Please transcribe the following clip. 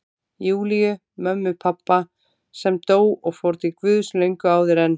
Júlíu, mömmu pabba, sem dó og fór til Guðs löngu áður en